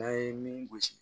N'an ye min gosi